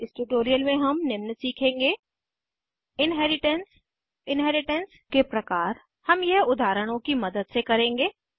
इस ट्यूटोरियल में हम निम्न सीखेंगे इन्हेरिटेन्स इन्हेरिटेन्स के प्रकार हम यह उदाहरणों की मदद से करेंगे